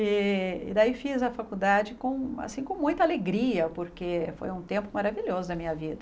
E e daí fiz a faculdade com assim com muita alegria, porque foi um tempo maravilhoso na minha vida.